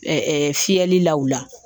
Ɛɛ fiyɛlilaw la